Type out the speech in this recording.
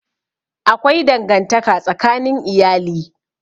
Akwai dangantaka tsakanin iyali.